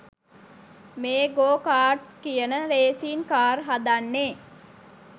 මේ go karts කියන racing car හදන්නෙ.